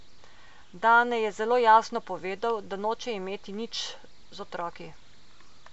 Dane je zelo jasno povedal, da noče imeti nič z otroki.